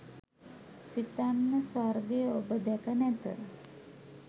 සිතන්න ස්වර්ගය ඔබ දැක නැත.